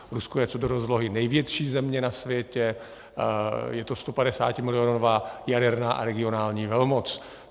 Rusko je co do rozlohy největší země na světě, je to 150milionová jaderná a regionální velmoc.